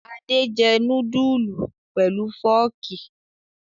Adé jẹ núdúlù pẹ̀lú fọ́ọ́kì?